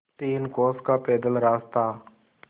तीन कोस का पैदल रास्ता